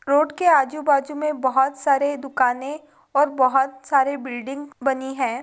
road के आजू बाजू में बहुत साड़ी दुकान और बहुत साईं बिल्डिंग बनी है|